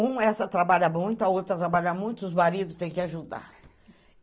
Um, essa trabalha muito, a outra trabalha muito, os maridos têm que ajudar.